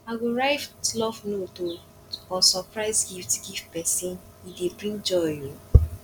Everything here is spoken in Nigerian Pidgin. i go write love note um or surprise gift give pesin e dey bring joy um